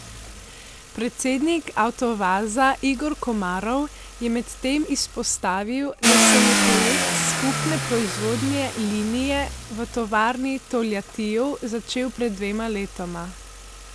Predsednik Avtovaza Igor Komarov je medtem izpostavil, da se je projekt skupne proizvodne linije v tovarni v Toljatiju začel pred dvema letoma.